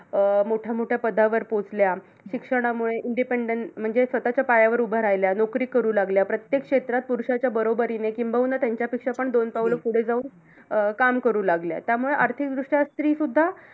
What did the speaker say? अं मोठ्यामोठ्या पदावर पोहोचल्या. शिक्षणामुळे independant म्हणजे स्वतःच्या पायावर उभ्या राहिल्या. नोकरी करू लागल्या. प्रत्येक क्षेत्रात पुरुषांच्या बरोबरीने, किंबहुना त्यांच्यापेक्षा पण दोन पाऊल पुढे जाऊन अं काम करू लागल्या. त्यामुळे आर्थिकदृष्ट्या स्री सुद्धा